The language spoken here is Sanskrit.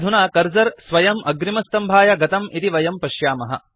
अधुना कर्सर स्वयम् अग्रिमस्तम्भाय गतं इति वयं पश्यामः